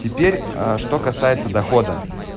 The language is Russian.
теперь что касается дохода